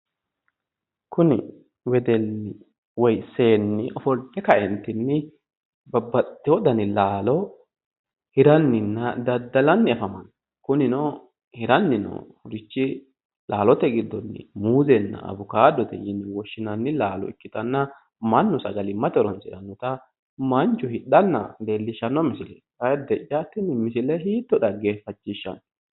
Kuni wedelli woy seenni ofolte kaeentinni babbaxitewo dani laalo hiranninna daddalanni afammanno kunino hiranni noorichi laalote gidonni muuzenna awukkaadote yine woshinnanni laalo ikitanna mannu sagalimmate horoonsirannota manchu hidhanna leellishanno misileeti. Ayidde'ya tini misile hiitto dhageeffachishshanno!